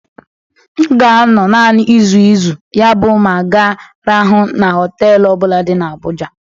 M ga-anọ naanị izu izu, yabụ m ga-arahụ na họtelu ọ bụla dị na Abuja.